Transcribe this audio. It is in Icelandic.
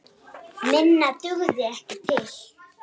Minna dugði ekki til.